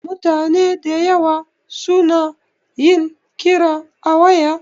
Mutane dayawa su na yin kira a waya